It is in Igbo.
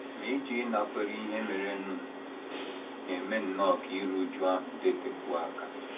Ma ịjụ ịnakwere ihe merenụ na - eme nnọọ ka iru újú ahụ dịtekwuo aka. ’